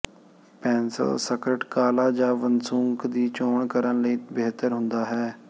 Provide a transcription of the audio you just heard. pencil skirt ਕਾਲਾ ਜ ਵਸੂੰਕ ਦੀ ਚੋਣ ਕਰਨ ਲਈ ਬਿਹਤਰ ਹੁੰਦਾ ਹੈ